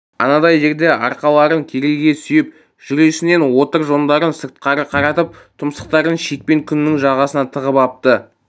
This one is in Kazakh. анадай жерде арқаларын керегеге сүйеп жүресінен отыр жондарын сыртқары қаратып тұмсықтарын шекпен күнінің жағасына тығып апты